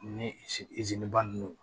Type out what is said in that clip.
Ni ba ninnu